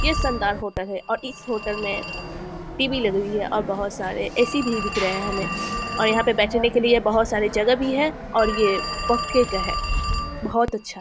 यह शानदार होटल है और इस होटल में टी.वी. लगी हुई है और बहुत सारे ए.सी. भी दिख रहे है हमें और यहाँ पे बैठने के लिए बहुत सारे जगह भी हैं और यह पक्के का है बहुत अच्छा --